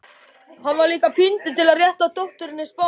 Hann var líka píndur til að rétta dótturinni spaðann.